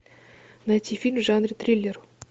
найти фильм в жанре триллер